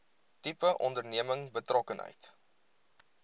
tipe onderneming betrokkenheid